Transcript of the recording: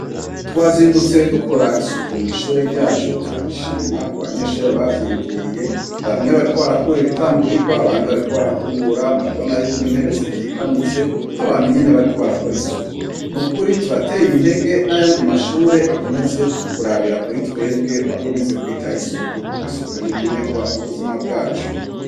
Twazindutse dukora isuku mu ishure ryacu .Turabishima ku banyeshurere bavyiyumviriye bamwe bariko barakura ibitangurirwa abandi bariko barakubura. Murabona yuko intebe zikikamitse nk'abantu nyene bariko barakora isuku nukuri turateye intege n'ayandi mashure akomeze kurabira kuri twebwe bakomeze kwitaho isuku kuko isuku n'inkenegwa mu buzima bwacu.